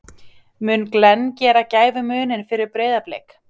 Mun Glenn gera gæfumuninn fyrir Breiðablik?